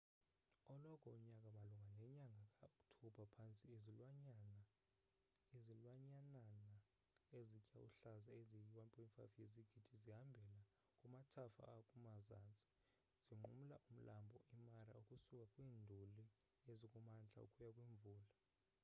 eloko nyaka malunga nenyaga ka oktobha phantse izilwanyanana ezitya uhlaza ezi yi 1.5 yezigidi zihambela kumathafa akumazantsi zinqumla umlambo i mara ukusuka kwiinduli ezikumantla ukuya kwimvula